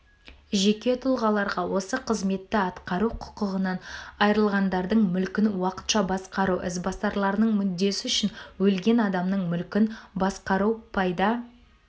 жеке тұлғаларға осы қызметті атқару құқығынан айрылғандардың мүлкін уақытша басқару ізбасарларының мүддесі үшін өлген адамның мүлкін басқару пайда